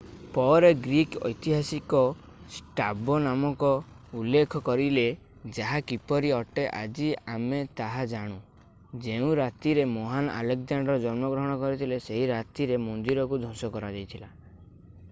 ପରେ ଗ୍ରୀକ୍ ଐତିହାସିକ ଷ୍ଟ୍ରାବୋ ନାମକୁ ଉଲ୍ଲେଖ କରିଲେ ଯାହା କିପରି ଅଟେ ଆଜି ଆମେ ତାହା ଜାଣୁ ଯେଉଁ ରାତିରେ ମହାନ ଆଲେକଜାଣ୍ଡାର ଜନ୍ମଗ୍ରହଣ କରିଲେ ସେହି ରାତିରେ ମନ୍ଦିରକୁ ଧ୍ୱଂସ କରାଯାଇଥିଲା